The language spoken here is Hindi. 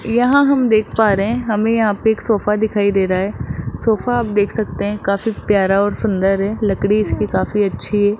यहां हम देख पा रहे हैं हमे यहाँ पे एक सोफा दिखाई दे रहा है सोफा आप देख सकते हैं काफी प्यार और सुंदर है लकड़ी इसकी काफी अच्छी --